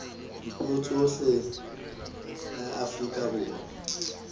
dipuo tsohle la afrika borwa